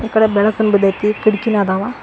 ಈ ಕಡೆ ಬೆಳಕನ್ನು ಬಿದೈತಿ ಕಿಟಕಿನು ಇದಾವ.